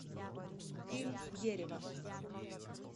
фильм дерево